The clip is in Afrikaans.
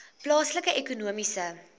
plaaslike ekonomiese